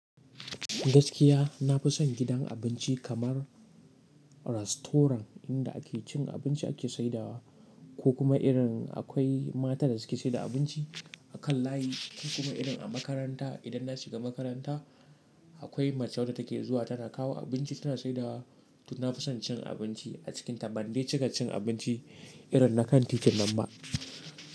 Gaskiya na fi son gidan abinci kamar rastoran, inda ake cin abinci ake saidawa, ko kuma irin akwai matan da suke saida abinci, a kan layi, ko kuma irin a makaranta idan na shiga makaranta, akwai mace wadda take zuwa tana kawo abinci tana saidawa, to na fi son cin abinci a cikinta, ban dai cika cin abinci irin na kan titin nan ba,